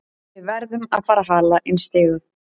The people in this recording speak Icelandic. Við verðum að fara að hala inn stigum.